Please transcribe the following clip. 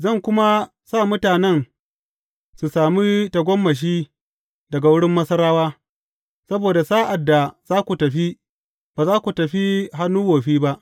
Zan kuma sa mutanen su sami tagomashi daga wurin Masarawa, saboda sa’ad da za ku fita, ba za ku fita hannu wofi ba.